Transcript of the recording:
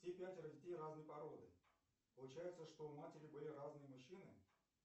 все пятеро детей разной породы получается что у матери были разные мужчины